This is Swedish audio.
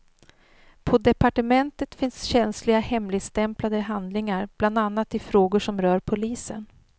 På departementet finns känsliga hemligstämplade handlingar bland annat i frågor som rör polisen.